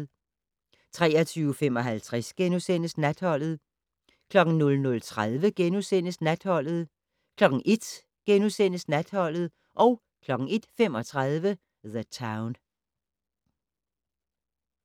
23:55: Natholdet * 00:30: Natholdet * 01:00: Natholdet * 01:35: The Town